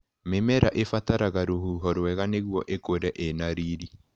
Mĩmera ĩbataraga rũhuho rwega nĩguo ĩkũre ĩna riri.